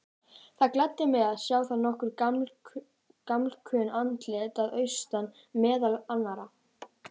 Það gladdi mig að sjá þar nokkur gamalkunn andlit að austan, meðal annarra